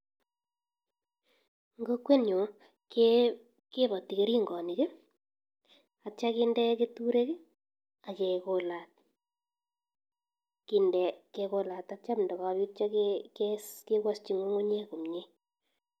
En kokwenyun kiboti keringonik akitio kinde keturek ak kekolat kinde kekolat akitio ndokokes kewoshi ngungunyek komnye.